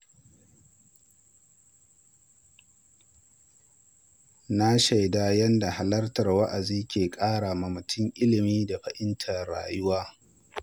Na shaida yadda halartar wa’azi ke kara wa mutum ilimi da fahimtar rayuwa.